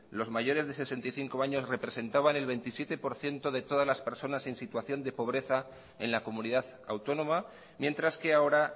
los mayores de sesenta y cinco años representaban el veintisiete por ciento de todas las personas en situación de pobreza en la comunidad autónoma mientras que ahora